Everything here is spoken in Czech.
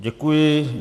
Děkuji.